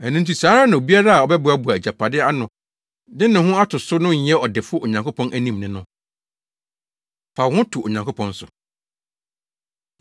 “Ɛno nti saa ara na obiara a ɔbɛboaboa agyapade ano de ne ho ato so no nyɛ ɔdefo Onyankopɔn anim ne no.” Fa Wo Ho To Onyankopɔn So